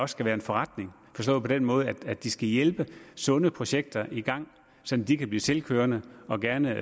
skal være en forretning forstået på den måde at de skal hjælpe sunde projekter i gang så de kan blive selvkørende og gerne